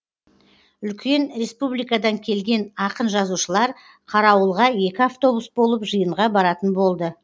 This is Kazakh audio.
үлкен республикадан келген ақын жазушылар қарауылға екі автобус болып жиынға баратын болды